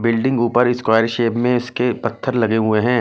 Building ऊपर square shape में इसके पत्थर लगे हुए है।